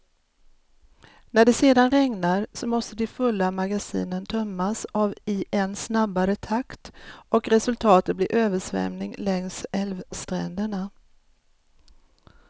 När det sedan regnar, så måste de fulla magasinen tömmas av i en snabbare takt och resultatet blir översvämning längs älvstränderna.